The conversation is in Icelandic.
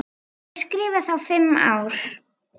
Ég skrifa þá fimm ár.